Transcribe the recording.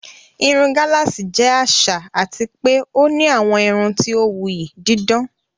Irun gálààsì jẹ́ àṣà àti pé ó ní àwọn irun tí ó wuyì, dídán.